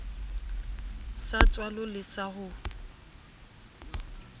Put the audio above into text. sa tswalo le sa ho